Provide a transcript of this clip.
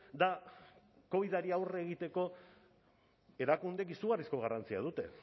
da covidari aurre egiteko erakundeek izugarrizko garrantzia dute